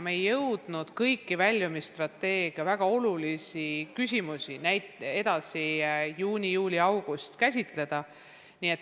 Me ei jõudnud kõiki väljumisstrateegia väga olulisi küsimusi, mis ikkagi saab juunis-juulis-augustis, käsitleda.